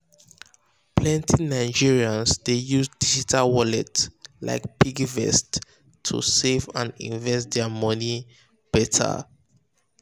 plenty nigerians dey use digital wallet like piggyvest to to save and invest their money better.